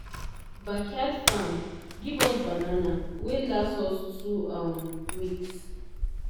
backyard farm give us banana wey last us two um weeks.